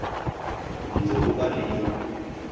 o ntse o ba le